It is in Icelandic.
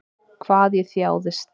Hvað ég þjáðist.